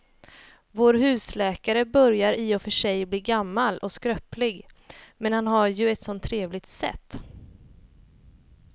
Vår husläkare börjar i och för sig bli gammal och skröplig, men han har ju ett sådant trevligt sätt!